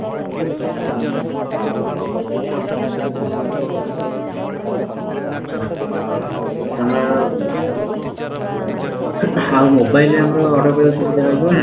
ଆଛା ଧର ଆଉ mobile ରେ ଆମର order କରିବାକୁ ସୁବିଧା ଆମର ରହିବ